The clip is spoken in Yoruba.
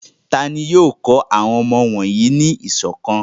Ta ni yóò kọ́ àwọn ọmọ wọ̀nyí ní ìṣọ̀kan?